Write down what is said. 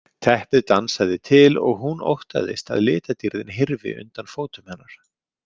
Teppið dansaði til og hún óttaðist að litadýrðin hyrfi undan fótum hennar.